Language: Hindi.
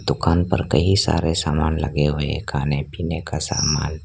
दुकान पर कई सारे सामान लगे हुए खाने पीने का सामान--